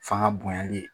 Fanga bonyani